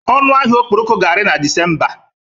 Ọnụ ahịa okporoko ga-ari na Disemba.